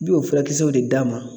Bi o furakisɛw de d'a ma.